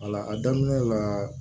a daminɛ la